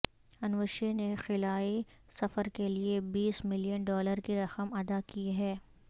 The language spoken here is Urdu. انوشے نےخلائی سفر کے لیئے بیس ملین ڈالر کی رقم ادا کی ہے